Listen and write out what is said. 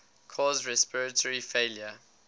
cause respiratory failure